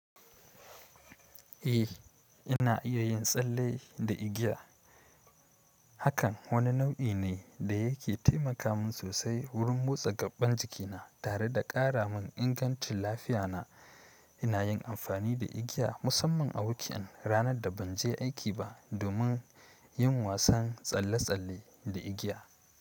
Eh, ina iya yin tsalle da igiya. Hakan wani nau'i ne da yake taimaka min sosai wurin motsa gaɓɓan jikina tare da ƙara mun ingancin lafiyana. Ina yin amfani da igiya musamman a wik'an ranar da ban je aiki ba domin yin wasan tsalle-tsalle da igiya.